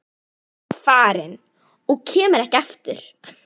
Hún er farin og kemur ekki aftur.